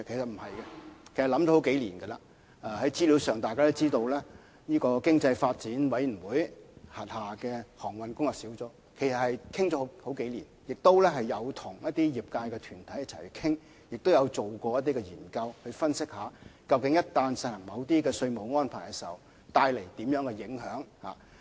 大家也可以從資料上看到，經濟發展委員會轄下的航運業工作小組，對此已討論了數年時間，也曾跟一些業界團體討論，以及進行研究分析，若要實行某些稅務安排，會帶來甚麼影響？